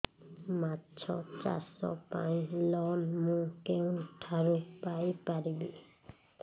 ମାଛ ଚାଷ ପାଇଁ ଲୋନ୍ ମୁଁ କେଉଁଠାରୁ ପାଇପାରିବି